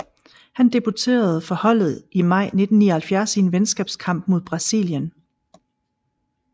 Han debuterede for holdet i maj 1979 i en venskabskamp mod Brasilien